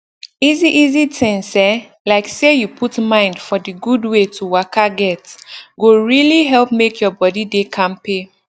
easy easy things eh like say you put mind for d gud wey to waka get go really help make your body dey kampe